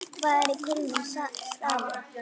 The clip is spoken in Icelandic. Hvað er kulnun í starfi?